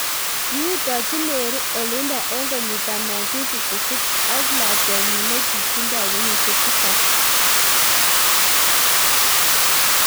kiutochi Mary olindok eng kenyit ab 1956 ak lakwenyi nekitindoi kenyisiek tisab -norma